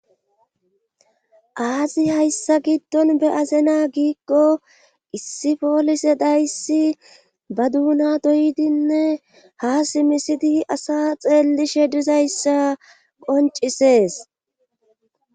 aazi hayssa giddon be'azena giikko issi poolise dayssi ba duuna doydinne ha simisidi asa xeellishe dizayssa qoncisees